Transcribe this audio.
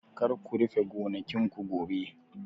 Kar ku rufe gonakin ku gobe!